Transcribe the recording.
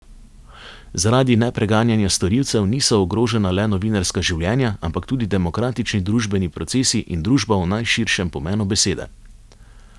Zaradi nepreganjanja storilcev niso ogrožena le novinarska življenja, ampak tudi demokratični družbeni procesi in družba v najširšem pomenu besede.